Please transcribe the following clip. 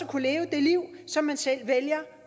kunne leve det liv som man selv vælger